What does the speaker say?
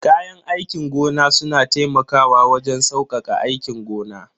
Kayan aikin gona suna taimakawa wajen saukaka aikin gona.